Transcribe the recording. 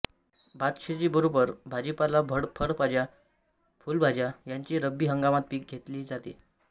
भातशेती बरोबर भाजीपाला फळभाज्या फुलभाज्या ह्यांचे रब्बी हंगामात पिक घेतले जाते